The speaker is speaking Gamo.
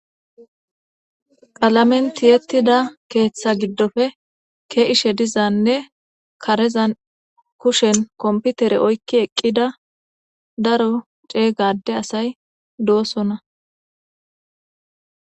qalamen tiyettida keeththa giddoppe ke'ishe dizanne karezan kushen komputere oykki eqqida daro cega ade asay dosona.